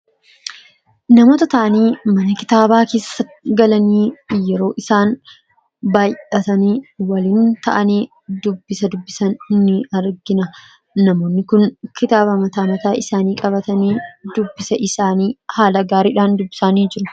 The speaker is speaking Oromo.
Namoota taanii mana kitaabaa keessa galanii yeroo isaan baayyatanii waliin ta'anii dubbisa dubbisan ni argina. Namoonni kun kitaaba mataa mataa isaanii qabatanii dubbisa isaanii haala gaariidhaan dubbisanii jiru.